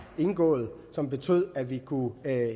indgået og som betød at vi kunne